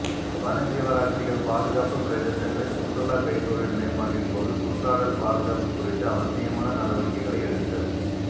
வனசீவராசிகள் பாதுகாப்பு பிரதேசங்களில் சுற்றுலா கைத்தொழில் மேம்பாட்டின் போது சுற்றாடல் பாதுகாப்பு குறித்து அவசியமான நடவடிக்கைகளை எடுத்தல்